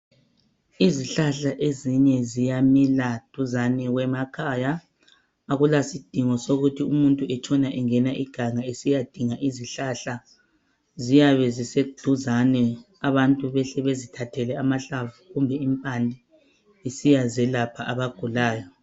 Izihlahla ezinye ziyamila duzane kwemakhaya, akulasidingo sokuthi umuntu etshona engena iganga esiyadinga izihlahla ziyabe ziseduzane abantu behle bezithathele amhlamvu kumbe impande besiya zelapha abagulayo